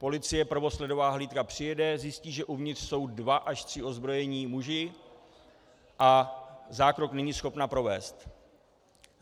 Policie, prvosledová hlídka, přijede, zjistí, že uvnitř jsou dva až tři ozbrojení muži, a zákrok není schopna provést.